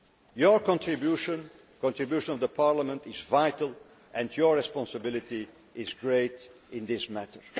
Your contribution, the contribution of Parliament, is vital and your responsibility is great in this matter.